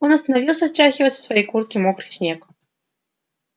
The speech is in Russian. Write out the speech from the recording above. он остановился стряхивая со своей куртки мокрый снег